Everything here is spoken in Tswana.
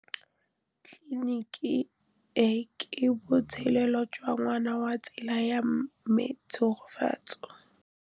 Tleliniki e, ke botsalêlô jwa ngwana wa tsala ya me Tshegofatso.